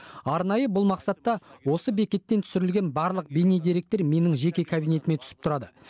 арнайы бұл мақсатта осы бекеттен түсірілген барлық бейнедеректер менің жеке кабинетіме түсіп тұрады